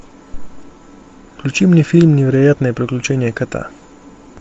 включи мне фильм невероятные приключения кота